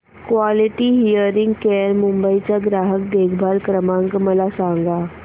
quality hearing care Mumbai चा ग्राहक देखभाल क्रमांक मला सांगा